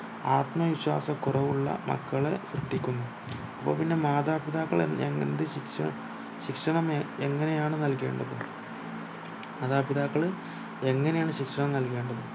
ആത്മവിശ്വാസ കുറവുള്ള മക്കളെ സൃഷ്ടിക്കുന്നു അപ്പോ പിന്നെ മാതാപിതാക്കൾ എങ്ങ എന്ത് ശിക്ഷ ശിക്ഷണം എങ്ങനെയാണ് നൽകേണ്ടത് മാതാപിതാക്കൾ എങ്ങനെയാണു ശിക്ഷണം നൽകേണ്ടത്